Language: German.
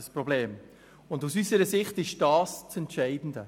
Aus unserer Sicht ist dies das Entscheidende.